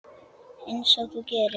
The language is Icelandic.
Einsog þú gerir?